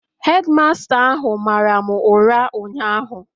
Hedi masta ahụ mara m ụra ụnyahụ